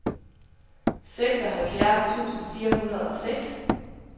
seksoghalvfjerds tusind fire hundrede og seks